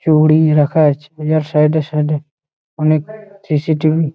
গুড়িয়ে রাখা আছে যার সাইডে সাইডে অনেক সি.সি.টি.ভি. ।